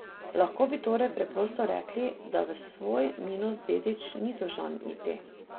Lahko bi torej preprosto rekli, da v svoj minus dedič ni dolžan iti.